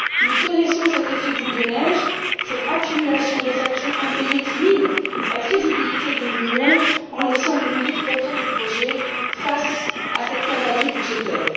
Nous connaissons cet effet boule de neige, cette accumulation de factures impayées qui minent la crédibilité de l'Union en laissant des milliers de porteurs de projets face à cette cavalerie budgétaire.